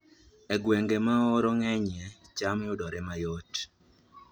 E gwenge ma oro ng'enyie, cham yudore mayot